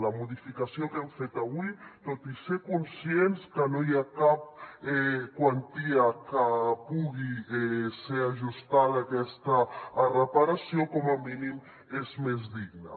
la modificació que hem fet avui tot i ser conscients que no hi ha cap quantia que pugui ser ajustada a aquesta reparació com a mínim és més digna